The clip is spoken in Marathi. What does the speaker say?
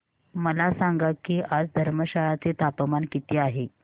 मला सांगा की आज धर्मशाला चे तापमान किती आहे